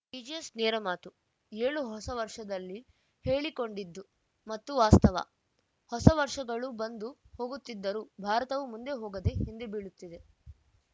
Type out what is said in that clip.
TJS ನೇರಮಾತು ಏಳು ಹೊಸ ವರ್ಷದಲ್ಲಿ ಹೇಳಿಕೊಂಡಿದ್ದು ಮತ್ತು ವಾಸ್ತವ ಹೊಸ ವರ್ಷಗಳು ಬಂದು ಹೋಗುತ್ತಿದ್ದರೂ ಭಾರತವು ಮುಂದೆ ಹೋಗದೆ ಹಿಂದೆಬೀಳುತ್ತಿದೆ